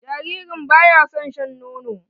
Jaririn ba ya son shan nono.